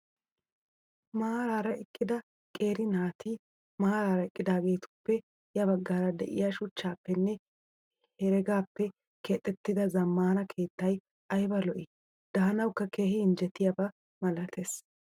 Maaraara eqqida qeeri naati maaraara eqqidaagetuppe ya baggaara diyaa shuchchappenne heregaappe keexettida zammaana keettayi ayiba lo'ii. Daanawukka keehi injjetiyaaba malates.